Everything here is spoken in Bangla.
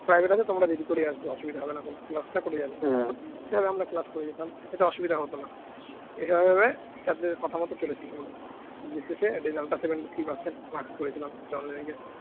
private আছে তোমরা দেরি করে আসবে অসুবিধা হবে না। ক্লাসটা করে যাবে সেই ভাবে আমরা class করে যেতাম সেটা অসুবিধে হতো না। এইভাবে ভাবে sir দের কথা মতো চলেছি দিনের শেষে result টা seventy three percent marks করেছিলাম উচ্চমাধ্যমিকে